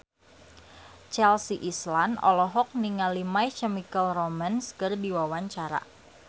Chelsea Islan olohok ningali My Chemical Romance keur diwawancara